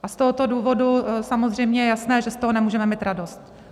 A z tohoto důvodu samozřejmě je jasné, že z toho nemůžeme mít radost.